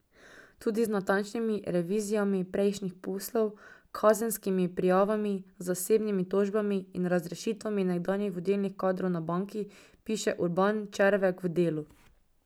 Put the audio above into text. Tudi z natančnimi revizijami prejšnjih poslov, kazenskimi prijavami, zasebnimi tožbami in razrešitvami nekdanjih vodilnih kadrov na banki, piše Urban Červek v Delu.